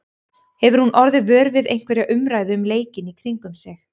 Hefur hún orðið vör við einhverja umræðu um leikinn í kringum sig?